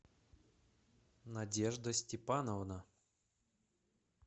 надежда степановна